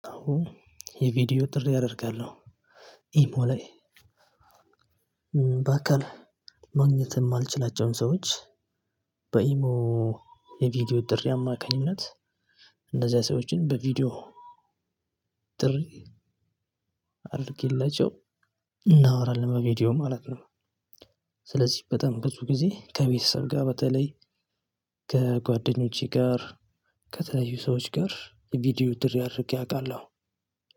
አዎ የቪዲዮ ጥሪ አደርጋለሁ ኢሞ ላይ በአካል ማግኘት እማልችላቸውን ሰዎች በኢሞ የቪዲዮ ጥሪ አማካኝነት እነዛ ሰዎችን በቪዲዮ ጥሪ አድርጌላችው እናወራለን በቪዲዮ ማለት ነው። ስለዚህ በጣም ብዙ ጊዜ ከቤተሰብ ጋር በተለይ ከጓደኞቼ ጋር ከተለያዩ ሰዎች ጋር የቪዲዮ ጥሪ አድርጌ አውቃለሁ።